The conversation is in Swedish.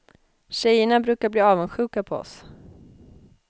Tjejerna brukar bli avundsjuka på oss.